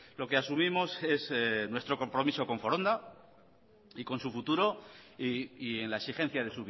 lo que asumimos es nuestro compromiso con foronda y con su futuro y en la exigencia de